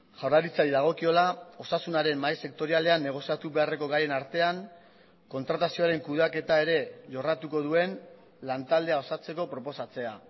jaurlaritzari dagokiola osasunaren mahai sektorialean negoziatu beharreko gaien artean kontratazioaren kudeaketa ere jorratuko duen lantaldea osatzeko proposatzea